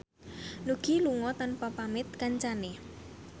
Nugie lunga tanpa pamit kancane